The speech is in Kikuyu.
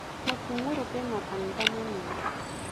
Mutungũrũ kwĩ makanitha manene.